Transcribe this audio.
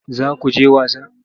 Za ku je wasa?